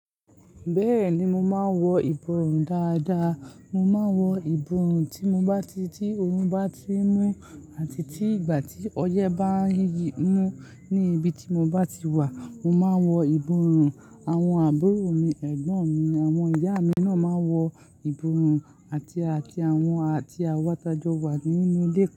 Bẹ́ẹ̀ ni mo máa ń wọ ìborùn dáadáa. Mo máa ń wọ ìborùn tí mo bá ti tí oòrùn bá ti n mú àti tí ìgbà tí ọyẹ́ bá ń yiyi mú ní ibi tí mo bá ti wà. Mo máa ń wọ ìborùn, àwọn àbúrò mi, ẹ̀gbọ́n mi, àwọn ìyá mi-- àwọn ná máa ń ma wọ ìborùn àti--àti--àti àwọn àti àwa tí a jọ wà ní inúulé kookorola.